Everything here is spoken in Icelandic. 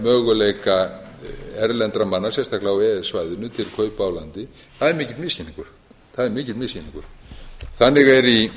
möguleika erlendra manna sérstaklega á e e s svæðinu til kaupa á landi það er mikill misskilningur þannig er í